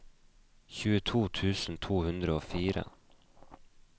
tjueto tusen to hundre og fire